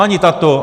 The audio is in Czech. Ani tato.